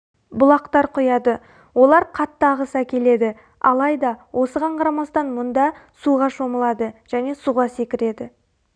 бұлақтар құяды олар қатты ағыс әкеледі алайды осыған қарамастан мұнда суға шомылады және суға секіреді